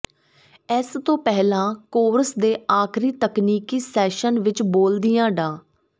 ਇਸ ਤੋਂ ਪਹਿਲਾਂ ਕੋਰਸ ਦੇ ਆਖਰੀ ਤਕਨੀਕੀ ਸੈਸ਼ਨ ਵਿਚ ਬੋਲਦਿਆਂ ਡਾ